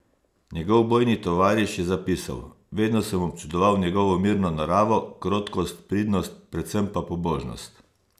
Njegov bojni tovariš je zapisal: "Vedno sem občudoval njegovo mirno naravo, krotkost, pridnost, predvsem pa pobožnost.